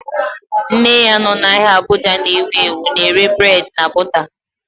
Nne ya nọ n'ahia Abuja na ewu ewu na-ere burédi na bọta